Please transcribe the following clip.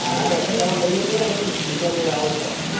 તો બીજા બધા ને બિ લઇ લઈશું બીજા કોઈ આવે તો